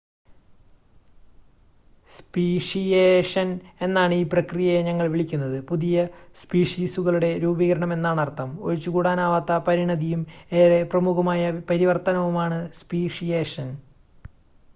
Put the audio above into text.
speciation എന്നാണ് ഈ പ്രക്രിയയെ ഞങ്ങൾ വിളിക്കുന്നത്, പുതിയ സ്പീഷീസുകളുടെ രൂപീകരണം എന്നാണർത്ഥം.ഒഴിച്ചുകൂടാനാവാത്ത പരിണതിയും ഏറെ പ്രമുഖമായ പരിവർത്തനവുമാണ് സ്പീഷിയേഷൻ